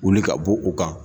Wuli ka bɔ u kan.